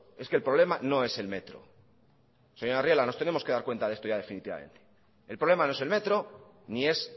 es que el problema no es el metro señora arriola nos tenemos que dar cuenta de esto ya definitivamente el problema no es el metro ni es